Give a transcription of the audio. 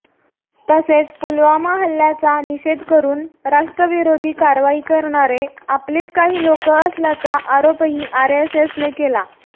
तसेच पुलवामा हल्ल्याचा निषेध करून राष्ट्रविरोधी कारवाई करणारे आपलीच काही लोकं असल्याचा आरोपही आरएसएसने केला